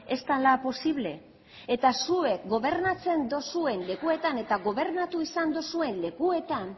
ez dela posible eta zuek gobernatzen duzuen lekuetan eta gobernatu izan duzuen lekuetan